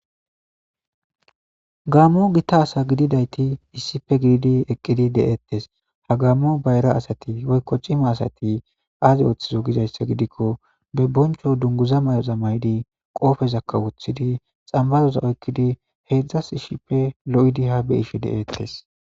Gammo gitta asse gididayisati eqidi detesi ha gammo bayira assati woyiko cinna assati azi othizo geyissa gidikko be bonicho dunguza mayidi qobezaka wothidi xamiphaza oyikidi qaessi loyidi ha beyishe detesi